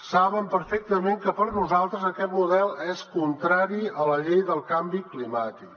saben perfectament que per nosaltres aquest model és contrari a la llei del canvi climàtic